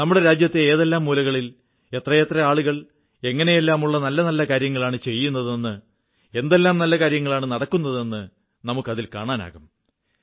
നമ്മുടെ രാജ്യത്തെ ഏതെല്ലാം മൂലകളിൽ എത്രയെത്ര ആളുകൾ എങ്ങനെയെല്ലാമുള്ള നല്ല നല്ല കാര്യങ്ങളാണ് ചെയ്യുന്നതെന്ന് എന്തെല്ലാം നല്ല കാര്യങ്ങളാണ് നടക്കുന്നതെന്ന് നമുക്ക് കാണാനാകും